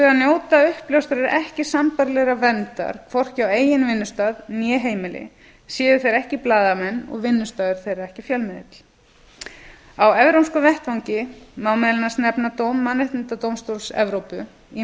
vegar njóta uppljóstrarar ekki sambærilegrar verndar hvorki á eigin vinnustað né heimili séu þeir ekki blaðamenn og vinnustaður þeirra ekki fjölmiðill á evrópskum vettvangi má meðal annars nefna dóm mannréttindadómstóls evrópu í